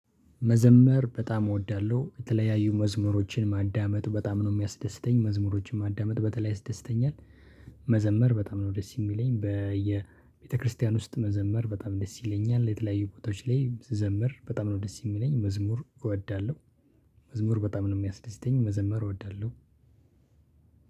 መዘመር በጣም እወዳለሁ። የተለያዩ መዝሙሮችን ማዳመጥ በጣም ነው የሚያስደስተኝ። መዝሙሮችን ማዳመጥ በተለይ ያስደስተኛል። መዘመር በጣም ነው ደስ የሚለኝ። በየቤተክርስቲያን ውስጥ መዘመር በጣም ደስ ይለኛል። የተለያዩ ቦታዎች ላይ ስዘምር በጣም ነው ደስ የሚለኝ። መዝሙር እወዳለሁ። መዝሙር በጣም ነው የሚያስደስተኝ። መዘመር እወዳለሁ።